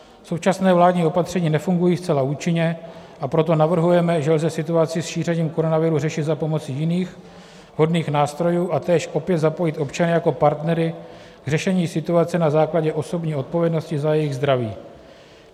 Současná vládní opatření nefungují zcela účinně, a proto navrhujeme, že lze situaci s šířením koronaviru řešit za pomoci jiných vhodných nástrojů a též opět zapojit občany jako partnery k řešení situace na základě osobní odpovědnosti za jejich zdraví.